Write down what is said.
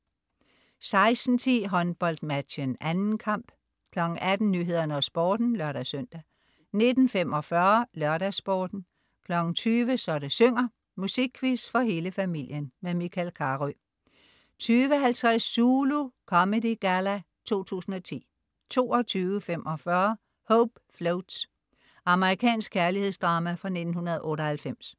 16.10 HåndboldMatchen. 2. kamp 18.00 Nyhederne og Sporten (lør-søn) 19.45 LørdagsSporten 20.00 Så det synger. Musikquiz for hele familien. Michael Carøe 20.50 Zulu Comedy Galla 2010 22.45 Hope Floats. Amerikansk kærlighedsdrama fra 1998